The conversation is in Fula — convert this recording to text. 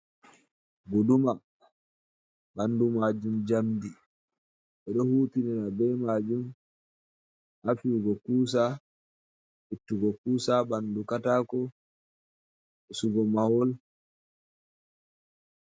Guduma: Bandu majum njamdi. 6e do hutitina be majum ha fiyugo kusa, ittugo kusa ha bandu katako, pusugo mahol...